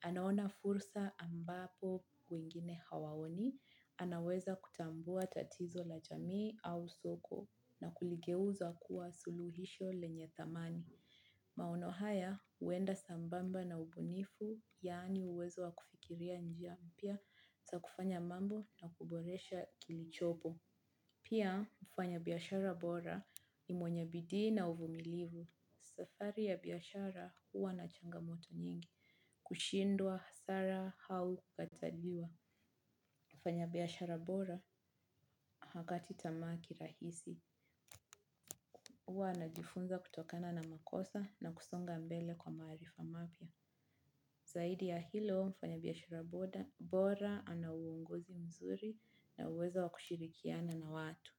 Anaona fursa ambapo kwingine hawaoni, anaweza kutambua tatizo la jamii au soko na kuligeuza kuwa suluhisho lenye thamani. Maono haya huenda sambamba na ubunifu yaani uwezo wa kufikiria njia mpya za takufanya mambo na kuboresha kilichopo. Pia mfanya biashara bora ni mwenye bidii na uvumilivu. Safaari ya biashara huwa na changamoto nyingi, kushindwa, hasara au kukataliwa. Mfanya biashara bora hakati tamaa kirahisi huwa anajifunza kutokana na makosa nakusonga mbele kwa maarifa mapya. Zaidi ya hilo mfanya biashara bora ana uongozi mzuri na uwezo wa kushirikiana na watu.